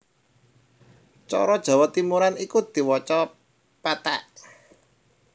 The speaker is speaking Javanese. Cara Jawa Timuran iku diwaca péték